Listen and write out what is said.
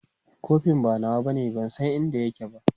kofin ba nawa bane ban San inda yake ba